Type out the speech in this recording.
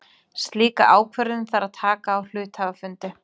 Slíka ákvörðun þarf að taka á hluthafafundi.